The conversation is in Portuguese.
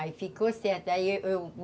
Aí ficou certo. Aí eu, eu